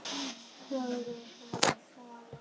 Horfir fram í salinn.